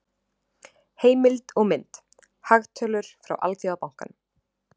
Heimild og mynd: Hagtölur frá Alþjóðabankanum.